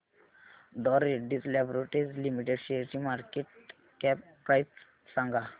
डॉ Reddy's laboratories limited शेअरची market cap price सांगा